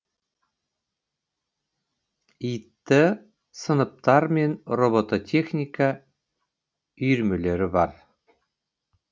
іт сыныптар мен робототехника үйірмелері бар